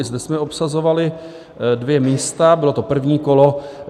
I zde jsme obsazovali dvě místa, bylo to první kolo.